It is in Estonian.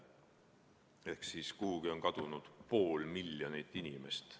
Ehk kuhugi on kadunud pool miljonit inimest.